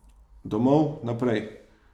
Domov, naprej.